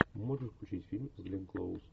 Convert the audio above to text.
можешь включить фильм с гленн клоуз